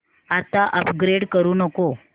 आता अपग्रेड करू नको